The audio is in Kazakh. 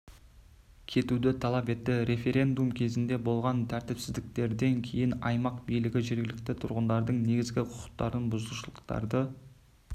кетуді талап етті референдум кезінде болған тәртіпсіздіктерден кейін аймақ билігі жергілікті тұрғындардың негізгі құқықтарын бұзушылықтарды